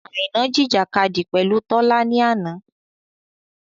Àìná jìjìkadì pẹ̀lú Tọ́lá ni àná.